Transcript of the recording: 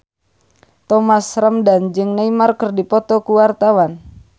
Thomas Ramdhan jeung Neymar keur dipoto ku wartawan